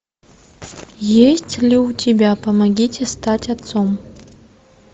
есть ли у тебя помогите стать отцом